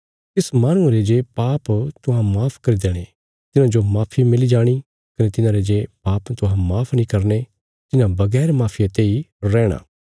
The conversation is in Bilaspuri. तिस माहणुये रे जे पाप तुहां माफ करी दणे तिन्हांजो माफी मिली जाणी कने तिन्हांरे जे पाप तुहां माफ नीं करने तिन्हां बगैर माफिया तेई रैणा